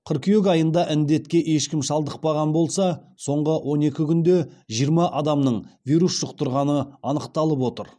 қыркүйек айында індетке ешкім шалдықпаған болса соңғы он екі күнде жиырма адамның вирус жұқтырғаны анықталып отыр